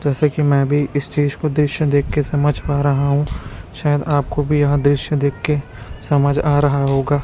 जैसे कि मैं भी इस चीज को दृश्य देखकर समझ पा रहा हूं शायद आपको भी यहां दृश्य देखके समझ आ रहा होगा।